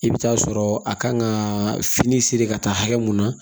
I bɛ taa sɔrɔ a kan ka fini siri ka taa hakɛ mun na